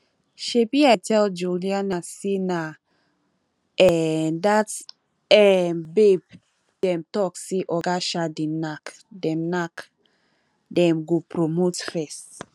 shebi i tell juliana say na um dat um babe dem talk say oga um dey knack dem knack dem go promote first